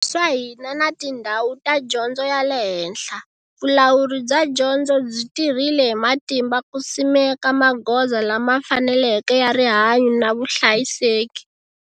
Swa hina na tindhawu ta dyondzo ya le henhla, vulawuri bya dyondzo byi tirhile hi matimba ku simeka magoza lama faneleke ya rihanyu na vuhlayiseki.